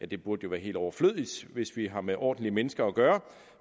det burde være helt overflødigt hvis vi har med ordentlige mennesker at gøre